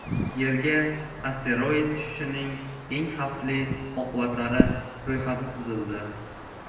Yerga asteroid tushishining eng xavfli oqibatlari ro‘yxati tuzildi.